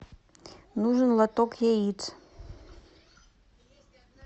нужен лоток яиц